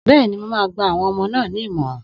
Bẹ́ẹ̀ni, mo máa gba àwọn ọmọ náà ní ìmọ̀ràn